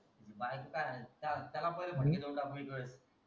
त्याची बायको काय हाणायची त्याला पहिले फटके देऊन टाकू ना एकावेळेस